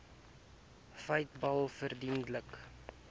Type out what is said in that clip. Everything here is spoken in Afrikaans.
feiteblad verduidelik